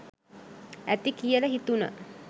ඇති කියල හිතුණා